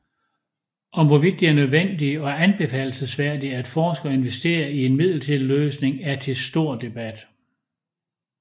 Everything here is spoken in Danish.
Om hvorvidt det er nødvendigt og anbefalelsesværdigt at forske og investere i en midlertidig løsning er til stor debat